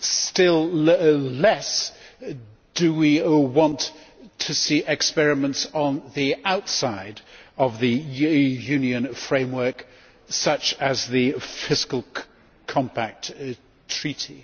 Still less do we want to see experiments on the outside of the Union framework, such as the Fiscal Compact Treaty.